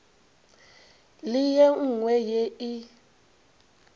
le ye nngwe ye e